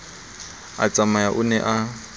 a tsamaya o ne a